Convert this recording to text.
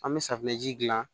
An bɛ safunɛji dilan